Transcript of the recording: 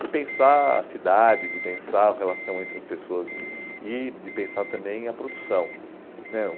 de pensar a cidade, de pensar a relação entre as pessoas e e de pensar também a produção né